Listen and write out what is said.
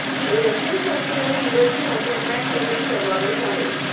हे रशियन संगीत आणि इंग्रजी भाषा ट्रॅक रिमिक्स समावेश आहे